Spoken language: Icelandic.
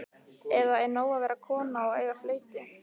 Eða er nóg að vera kona og eiga flautu?